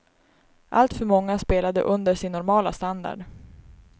Alltför många spelade under sin normala standard.